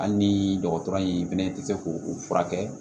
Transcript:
Hali ni dɔgɔtɔrɔ in fɛnɛ tɛ se k'o furakɛ